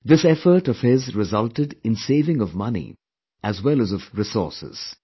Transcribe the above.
This effort of his resulted in saving of money as well as of resources